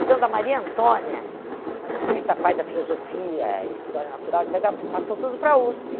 Então, da Maria Antônia, ah essa parte da filosofia, eh história natural, et cetera passou tudo para a USP.